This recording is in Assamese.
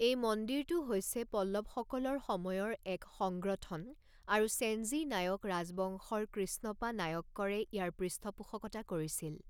এই মন্দিৰটো হৈছে পল্লৱসকলৰ সময়ৰ এক সংগ্ৰথন আৰু ছেঞ্জি নায়ক ৰাজবংশৰ কৃষ্ণপা নায়ক্কৰে ইয়াৰ পৃষ্ঠপোষকতা কৰিছিল।